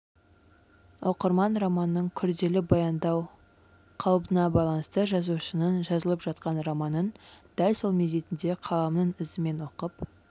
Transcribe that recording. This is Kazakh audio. оқырман романның күрделі баяндау қалыбына байланысты жазушының жазылып жатқан романын дәл сол мезетінде қаламының ізімен оқып